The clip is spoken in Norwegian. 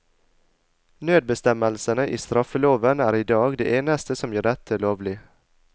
Nødbestemmelsene i straffeloven er i dag det eneste som gjør dette lovlig.